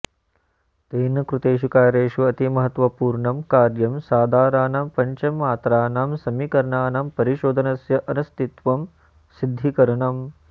तेन कृतेषु कार्येषु अतिमहत्वपूर्णं कार्यं सादारणानां पञ्चममात्राणां समीकरणानां परिशोधनस्य अनस्तित्वं सिद्धीकरणम्